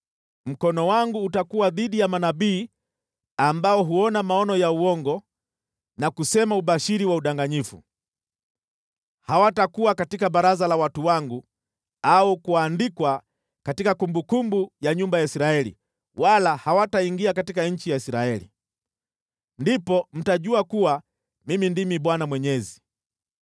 Mkono wangu utakuwa dhidi ya manabii ambao huona maono ya uongo na kusema ubashiri wa udanganyifu. Hawatakuwa katika baraza la watu wangu au kuandikwa katika kumbukumbu ya nyumba ya Israeli wala hawataingia katika nchi ya Israeli. Ndipo mtajua kuwa Mimi ndimi Bwana Mwenyezi.